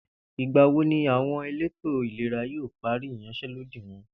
Ìgbà wo ni àwo̩n elétò ìlera yóò parí ìyans̩é̩lódì wo̩n?